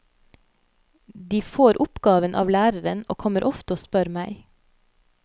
De får oppgaven av læreren og kommer ofte og spør meg.